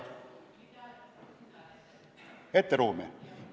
Ette ruumi?